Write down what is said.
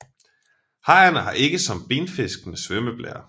Hajerne har ikke som benfiskene svømmeblære